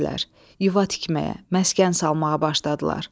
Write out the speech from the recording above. Yuva tikməyə, məskən salmağa başladılar.